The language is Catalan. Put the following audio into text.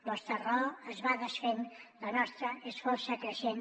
vostra raó es va desfent la nostra és força creixent